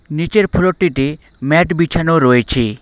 নীচের ফ্লোরটিটি ম্যাট বিছানো রয়েছে।